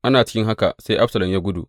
Ana cikin haka, sai Absalom ya gudu.